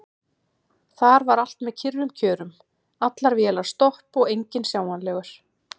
Þar var allt með kyrrum kjörum: allar vélar stopp og enginn sjáanlegur.